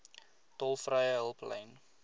tolvrye hulplyn